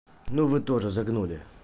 ну вы тоже загнули